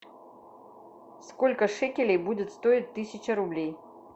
сколько шекелей будет стоить тысяча рублей